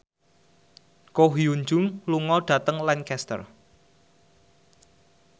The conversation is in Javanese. Ko Hyun Jung lunga dhateng Lancaster